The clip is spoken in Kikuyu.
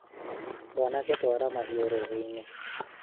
mwanake twara mahĩũ rũĩ-inĩ